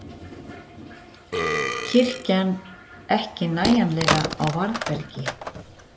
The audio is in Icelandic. Kirkjan ekki nægjanlega á varðbergi